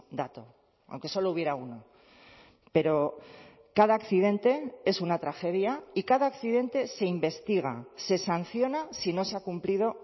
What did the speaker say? dato aunque solo hubiera uno pero cada accidente es una tragedia y cada accidente se investiga se sanciona si no se ha cumplido